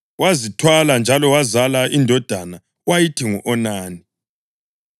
Wazithwala njalo wazala indodana wayithi ngu-Onani.